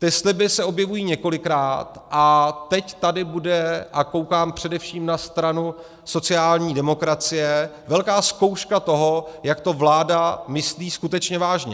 Ty sliby se objevují několikrát, a teď tady bude, a koukám především na stranu sociální demokracie, velká zkouška toho, jak to vláda myslí skutečně vážně.